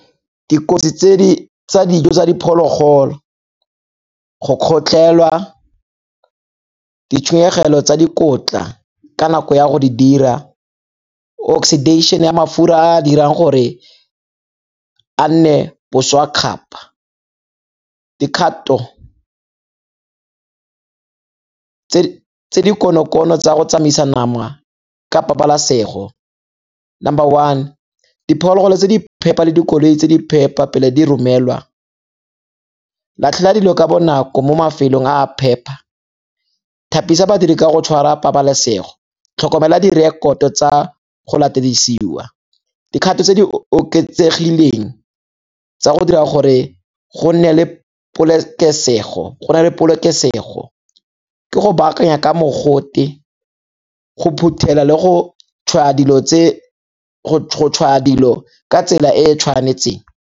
Dikotsi tsa dijo tsa diphologolo, go kgotlhelwa, ditshenyegelo tsa dikotla ka nako ya go di dira, oxidation-e ya mafura a a dirang gore a nne boswa kgapa. Dikgato tse di konokono tsa go tsamaisa nama ka pabalasego, number one diphologolo tse di phepa le dikoloi tse di phepa pele diromelwa, latlhela dilo ka bonako mo mafelong a a phepa, thapisa badiri ka go tshwara pabalesego, tlhokomela direkoto tsa go latediswa. Dikgato tse di oketsegileng tsa go dira gore go nne le polokesego ke go baakanya ka mogote, go phuthela le go tshwaya dilo ka tsela e e tshwanetseng.